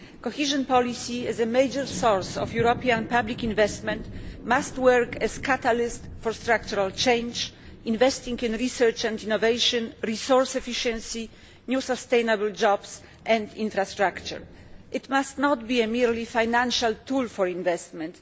Cohesion policy is a major source of European public investment and must work as a catalyst for structural change by investing in research and innovation, resource efficiency, new and sustainable jobs and infrastructure. It must not merely be a financial tool for investment.